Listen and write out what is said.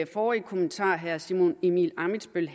forrige kommentar herre simon emil ammitzbøll